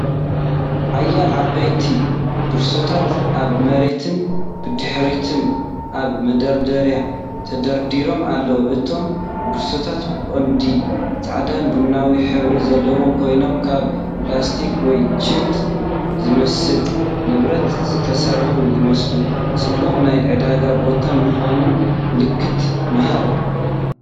ሓያሎ ዓበይቲ ቦርሳታት ኣብ መሬትን ብድሕሪት ኣብ መደርደሪን ተደራሪበን ኣለዋ። እቶም ቦርሳታት ብቐንዱ ጻዕዳን ቡናውን ሕብሪ ዘለዎም ኮይኖም፡ ካብ ፕላስቲክ ወይ ጁት ዝመስል ንብረት ዝተሰርሑ ይመስሉ። ጽዑቕ ናይ ዕዳጋ ቦታ ምዃኑ ምልክት ምሃብ።